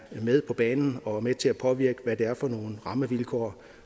med på banen og med til at påvirke hvad det er for nogle rammevilkår